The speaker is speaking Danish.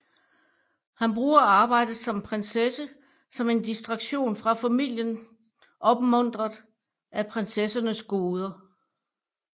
Han bruger arbejdet som prinsesse som en distraktion fra familien opmuntret af prinsessernes goder